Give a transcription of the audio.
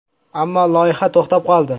Ammo loyiha to‘xtab qoldi.